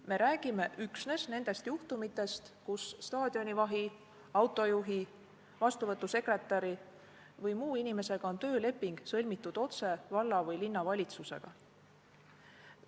Me räägime üksnes nendest juhtumitest, kui staadionivahil, autojuhil, vastuvõtusekretäril või muul inimesel on tööleping sõlmitud otse valla- või linnavalitsusega.